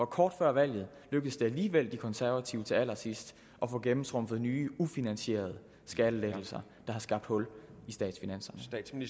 kort før valget alligevel lykkedes de konservative til allersidst at få gennemtrumfet nye ufinansierede skattelettelser der har skabt hul i statsfinanserne